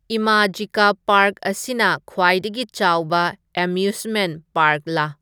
Imagica park ꯑꯁꯤꯅ ꯈ꯭ꯋꯥꯏꯗꯒꯤ ꯆꯥꯎꯕ ꯑꯦꯃ꯭ꯌꯨꯁꯃꯦꯅ꯭ꯠ ꯄꯥꯔ꯭ꯛꯂꯥ